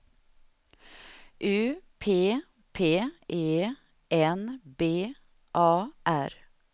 U P P E N B A R